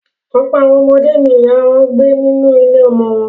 Ọ̀pọ̀ àwọn ọmọdé ni ìyá wọn gbé nínú ilé-ọmọ wọn.